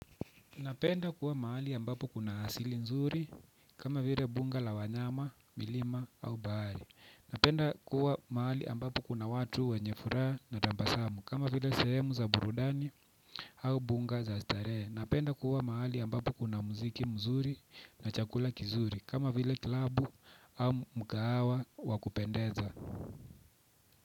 Napenda kuwa maali ambapo kuna hasili nzuri, kama vile bunga la wanyama, milima au bahali. Napenda kuwa mahali ambapo kuna watu wenye furaha na tabasamu, kama vile sehemu za burudani au bunga za starehe. Napenda kuwa mahali ambapo kuna muziki mzuri na chakula kizuri, kama vile klabu au mkahawa wakupendeza.